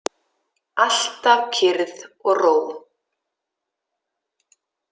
Alltaf kyrrð og ró.